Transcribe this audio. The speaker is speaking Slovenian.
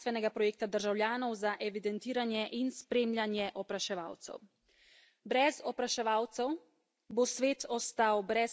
Brez opraševalcev bo svet ostal brez hrane, brez narave in, dragi moji, brez ljudi.